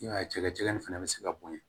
I b'a ye cɛ nin fana bɛ se ka bonya